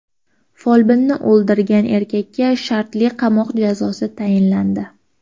Folbinni o‘ldirgan erkakka shartli qamoq jazosi tayinlandi.